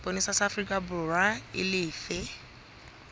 sepolesa sa aforikaborwa e lefe